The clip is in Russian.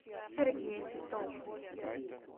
сергей титов